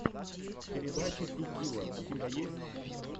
передача ти килла у тебя есть